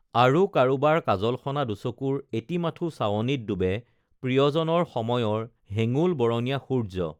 আৰু কৰোবাৰ কাজলসনা দুচকুৰ এটি মাথো চাৱনিত ডুবে প্ৰিয়জনৰ সময়ৰ হেঙুল বৰণীয়া সূৰ্য্য